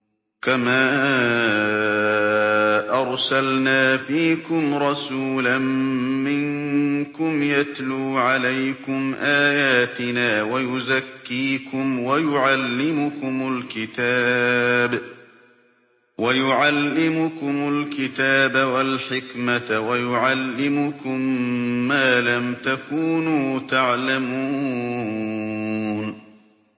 كَمَا أَرْسَلْنَا فِيكُمْ رَسُولًا مِّنكُمْ يَتْلُو عَلَيْكُمْ آيَاتِنَا وَيُزَكِّيكُمْ وَيُعَلِّمُكُمُ الْكِتَابَ وَالْحِكْمَةَ وَيُعَلِّمُكُم مَّا لَمْ تَكُونُوا تَعْلَمُونَ